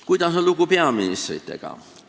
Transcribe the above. Kuidas on lugu peaministritega?